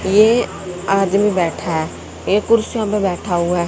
ये आदमी बैठा है ए कुर्सीयों पे बैठा हुआ है।